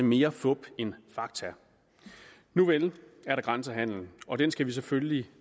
mere fup end fakta nuvel er der grænsehandel og den skal vi selvfølgelig